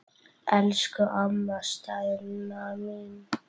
Elsku amma Steina mín.